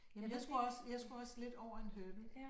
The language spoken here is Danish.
Jamen jeg skulle også jeg skulle også lidt over en hurdle